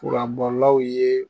Kuranbɔlaw ye